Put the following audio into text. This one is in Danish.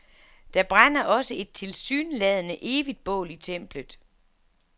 Der brænder også et tilsyneladende evigt bål i templet.